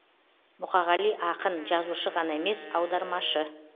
мұқағали ақын жазушы ғана емес аудармашы